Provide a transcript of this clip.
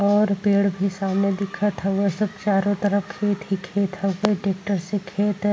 और पेड़ भी सामने दिखत हवे। चारो तरफ खेत ही खेत ह ट्रैकर से खेत --